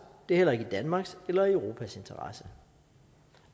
det er heller ikke i danmarks eller europas interesse